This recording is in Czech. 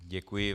Děkuji.